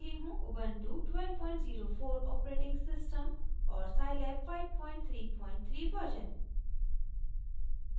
Ubuntu 1204 operating system और scilab 533 version